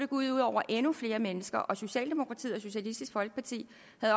ud over endnu flere mennesker og socialdemokratiet og socialistisk folkeparti